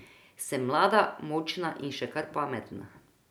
Sem mlada, močna in še kar pametna.